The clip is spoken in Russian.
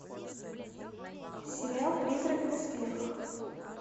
сериал призрак в доспехах